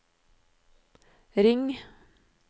ring